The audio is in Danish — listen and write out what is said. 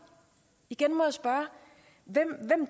igen må jeg spørge hvem